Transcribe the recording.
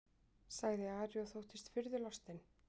sagði Ari og þóttist furðulostinn.